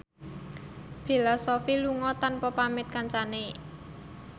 Bella Shofie lunga tanpa pamit kancane